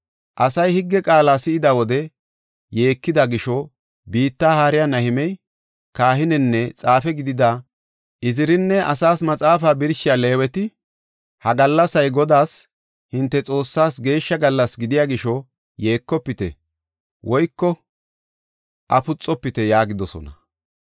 Asay higge qaala si7ida wode yeekida gisho, biitta haariya Nahimey, kahinenne xaafe gidida Izirinne asaas maxaafa birshiya Leeweti, “Ha gallasay Godaas, hinte Xoossaas geeshsha gallas gidiya gisho, yeekofite woyko afuxofite” yaagidosona.